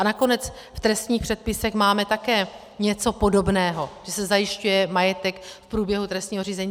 A nakonec v trestních předpisech máme také něco podobného, že se zajišťuje majetek v průběhu trestního řízení.